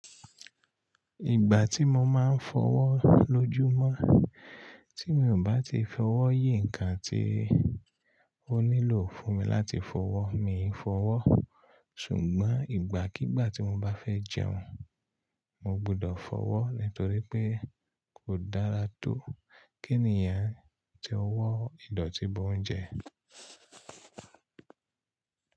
Ìgbà tí mo máa ń fọwọ́ lójúmọ́, tí mi ò bá ti fọwọ́ yí nǹkan tí ó nílò fún mi láti fọwọ́, mi ò fọwọ́. Ṣùgbọ́n ìgbàkígbà tí mo bá fẹ́ jẹun, mo gbọdọ̀ fọwọ́ nítorí pé kò dára tó kí ènìyàn tó wọ ìdọ̀tí bọ oúnjẹ.